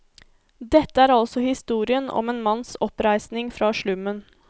Dette er altså historien om en manns oppreisning fra slummen.